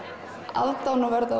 aðdáunarverða og